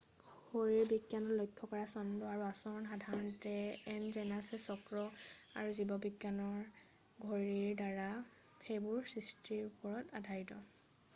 শৰীৰবিজ্ঞানত লক্ষ্য কৰা ছন্দ আৰু আচৰণ সাধাৰণতে এণ্ড'জেনাছ চক্ৰ আৰু জীৱবিজ্ঞানৰ ঘড়ীৰ দ্বাৰা সেইবোৰৰ সৃষ্টিৰ ওপৰত আধাৰিত